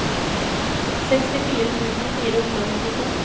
sekstifire tusen fire hundre og nittito